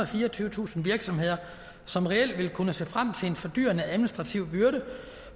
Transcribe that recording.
og fireogtyvetusind virksomheder som reelt vil kunne se frem til en fordyrende administrativ byrde